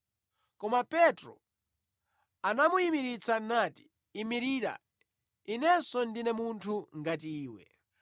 Koma Petro anamuyimiritsa nati, “Imirira, inenso ndine munthu ngati iwe.”